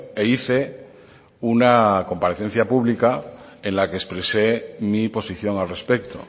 e hice una comparecencia pública en la que expresé mi posición al respecto